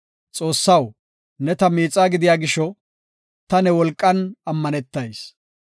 Xoossaw, ne ta miixaa gidiya gisho, ta ne wolqan ammanetayis.